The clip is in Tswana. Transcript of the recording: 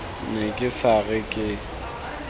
ne ke sa re ke